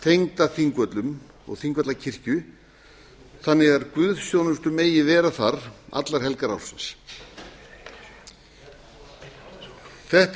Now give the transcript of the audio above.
tengda þingvöllum og þingvallakirkju þannig að guðsþjónustur megi vera þar allar helgar ársins þetta